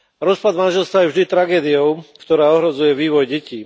Rozpad manželstva je vždy tragédiou, ktorá ohrozuje vývoj detí.